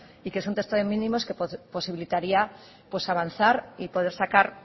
y que es un texto de mínimos que posibilitaría avanzar y poder sacar